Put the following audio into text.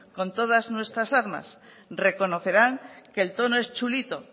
con todas nuestras armas reconocerán que el tono es chulito